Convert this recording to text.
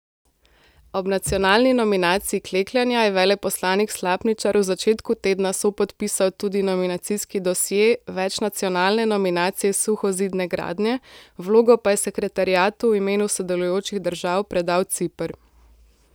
Ob nacionalni nominaciji klekljanja je veleposlanik Slapničar v začetku tedna sopodpisal tudi nominacijski dosje večnacionalne nominacije suhozidne gradnje, vlogo pa je sekretariatu v imenu sodelujočih držav predal Ciper.